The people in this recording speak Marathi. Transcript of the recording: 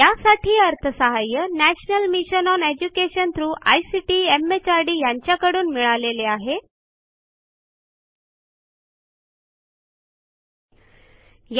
यासाठी national mission on education through ICT MHRD यांच्याकडून अर्थसहाय्य मिळालेले आहे